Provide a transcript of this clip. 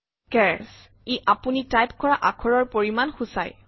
search - ই আপুনি type কৰা আখৰৰ পৰিমান সূচায়